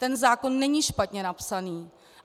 Ten zákon není špatně napsaný.